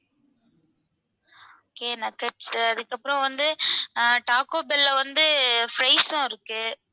okay nuggets உ அதுக்கப்பறம் வந்து taco bell ல வந்து fries ம் இருக்கு.